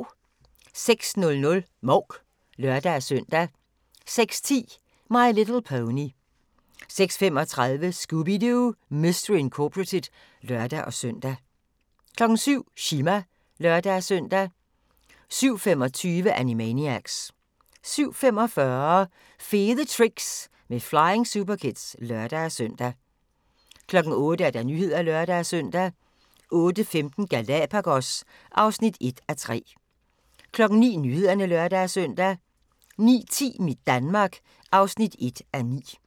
06:00: Mouk (lør-søn) 06:10: My Little Pony 06:35: Scooby-Doo! Mystery Incorporated (lør-søn) 07:00: Chima (lør-søn) 07:25: Animaniacs 07:45: Fede Tricks med Flying Superkids (lør-søn) 08:00: Nyhederne (lør-søn) 08:15: Galapagos (1:3) 09:00: Nyhederne (lør-søn) 09:10: Mit Danmark (1:9)